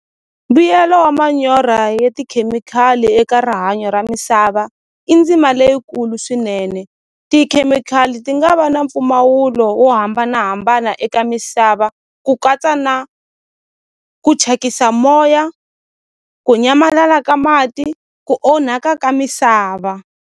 Mbuyelo wa manyora ya tikhemikhali eka rihanyo ra misava i ndzima leyikulu swinene tikhemikhali ti nga va na mpfumawulo wo hambanahambana eka misava ku katsa na ku thyakisa moya ku nyamalala ka mati ku onhaka ka misava.